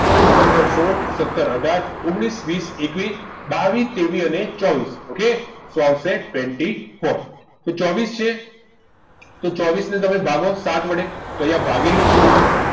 ચૌદ પંદર સોળ સત્તર અઢાર ઓગણીશ વીસ એકવીસ બાવીસ તેવીસ અને ચોવીસ ok શું આવશે twenty four તો ચોવીસ છે તો ચોવીસ ને તમે ભાગો સાત વડે તો અહીંયા ભાગેલું છે જુઓ